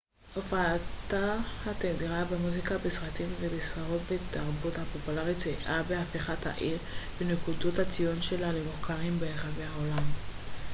הופעתה התדירה במוזיקה בסרטים בספרות ובתרבות הפופולרית סייעה בהפיכת העיר ונקודות הציון שלה למוכרים ברחבי העולם